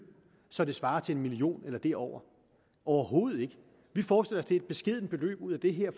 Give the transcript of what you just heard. så det svarer til en million kroner eller derover overhovedet ikke vi forestiller det er et beskedent beløb ud af det her